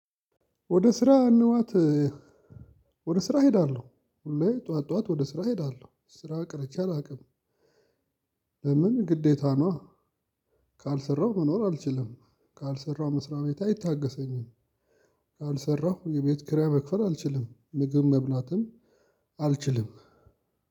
ወደ ስራ መግባት፤ ወደ ስራ እሄዳለሁ። ሁል ጊዜ ጠዋት ጠዋት ወደ ስራ እሄዳለሁ። ስራ ቀርቼ አላውቅም። ለምን? ግዴታ ነዋ። ካልሰራሁ መኖር አልችልም። ካልሰራሁ መስሪያ ቤቴ አይታገሰኝም። ካልሰራሁ የቤት ኪራይ መክፈል አልችልም። ምግብ መብላትም አልችልም።